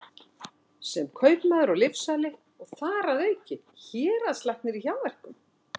sem er kaupmaður og lyfsali og þar að auki héraðslæknir í hjáverkum?